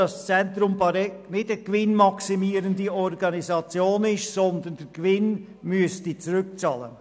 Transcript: Das Zentrum Bäregg ist keine gewinnmaximierende Organisation, sondern es müsste einen allfälligen Gewinn zurückzahlen.